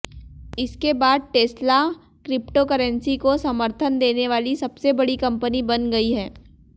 इसके बाद Tesla cryptocurrency को समर्थन देने वाली सबसे बड़ी कंपनी बन गई है